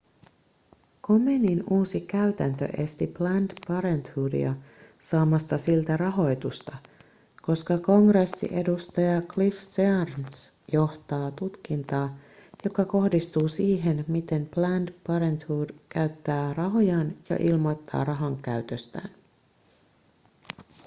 komenin uusi käytäntö esti planned parenthoodia saamasta siltä rahoitusta koska kongressiedustaja cliff searns johtaa tutkintaa joka kohdistuu siihen miten planned parenthood käyttää rahojaan ja ilmoittaa rahankäytöstään